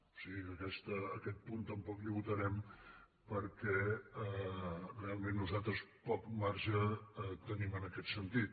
o sigui que aquest punt tampoc el votarem perquè realment nosaltres poc marge tenim en aquest sentit